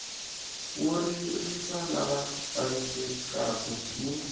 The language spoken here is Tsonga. wo ririsa lava vavisekaku ni